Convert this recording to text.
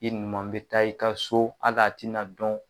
I numan bɛ taa i ka so hali a tɛna dɔn.